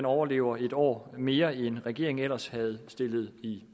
overlever en år mere end regeringen ellers havde stillet i